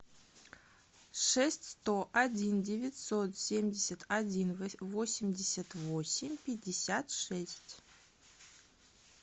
шесть сто один девятьсот семьдесят один восемьдесят восемь пятьдесят шесть